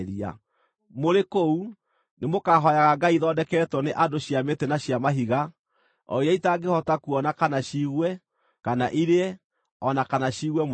Mũrĩ kũu, nĩmũkahooyaga ngai ithondeketwo nĩ andũ cia mĩtĩ na cia mahiga, o iria itangĩhota kuona, kana ciigue, kana irĩe, o na kana ciigue mũrukĩ.